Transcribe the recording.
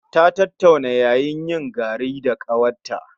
Ta tattauna yayanyin garin da ƙawarta